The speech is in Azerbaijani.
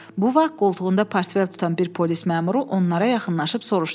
Bu vaxt qoltuğunda portfel tutan bir polis məmuru onlara yaxınlaşıb soruşdu.